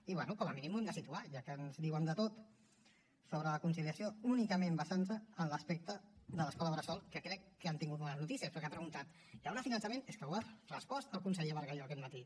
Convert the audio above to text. i bé com a mínim ho hem de situar ja que ens diuen de tot sobre la conciliació únicament basant se en l’aspecte de l’escola bressol que crec que han tingut bones noticies perquè ha preguntat hi haurà finançament és que ho ha respost el conseller bargalló aquest matí